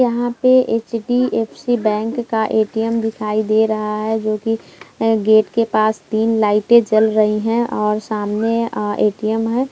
यहाँ पे HDFC. Bank का ए.टी.एम. दिखाई दे रहा है जो कि गेट के पास तीन लाइटे जल रही है और सामने आ ए.टी.एम. है।